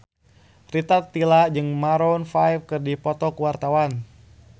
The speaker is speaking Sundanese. Rita Tila jeung Maroon 5 keur dipoto ku wartawan